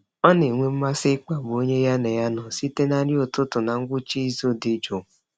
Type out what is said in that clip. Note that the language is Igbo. Ọ na-enwe mmasị ịkpagbu onye ya na ya nọ site na nri ụtụtụ na ngwụcha izu dị jụụ.